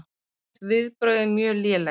Mér finnst viðbrögðin mjög léleg